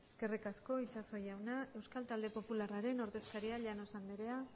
eskerrik asko itxaso jauna euskal talde popularraren ordezkaria llanos andrea